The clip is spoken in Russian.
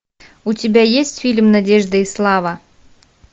у тебя есть фильм надежда и слава